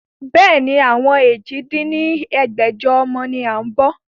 Bẹ́ẹ̀ni, àwọn èje dín ní ẹgbẹ́jọ ọmọ ni a ń bọ́.